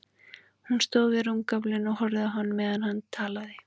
Hún stóð við rúmgaflinn og horfði á hann meðan hann talaði.